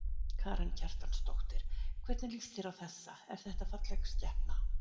Karen Kjartansdóttir: Hvernig lýst þér á þessa, er þetta falleg skepna?